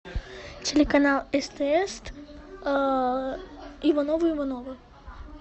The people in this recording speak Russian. телеканал стс ивановы ивановы